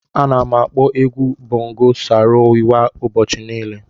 Ana m akpọ egwu bongo Saro Wiwa ụbọchị niile.